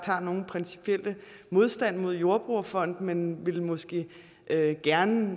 har nogen principiel modstand mod jordbrugerfonden men vi vil måske gerne